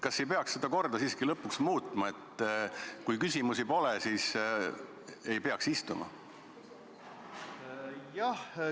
Kas ei peaks seda korda siiski lõpuks muutma, et kui küsimusi pole, siis ei peaks siin istuma?